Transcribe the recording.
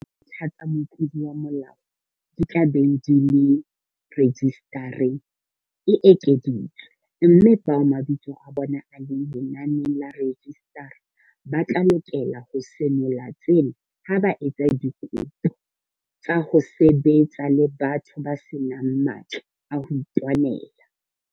Nako eo dintlha tsa motlodi wa molao di tla beng di le rejisitareng e ekeditswe, mme bao mabitso a bona a leng lenaneng la rejisitara ba tla lokela ho senola tsena ha ba etsa dikopo tsa ho sebetsa le batho ba se nang matla a ho itwanela.